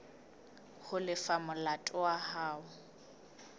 ho lefa molato wa hao